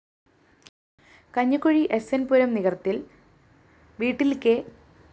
Kanjikuzhi SN‍ Puram നികര്‍ത്തില്‍ വീട്ടില്‍ K